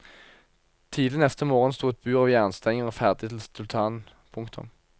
Tidlig neste morgen sto et bur av jernstenger ferdig til sultanen. punktum